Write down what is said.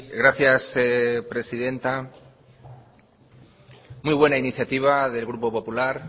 gracias presidenta muy buena iniciativa del grupo popular